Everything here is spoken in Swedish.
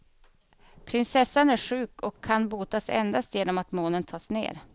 Prinsessan är sjuk och kan botas endast genom att månen tas ned.